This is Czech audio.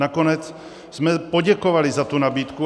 Nakonec jsme poděkovali za tu nabídku.